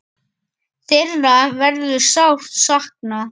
Þeirra verður sárt saknað.